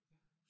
Ja